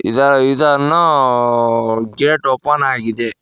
ಇದ ಇದನ್ನು gate open ಆಗಿದೆ.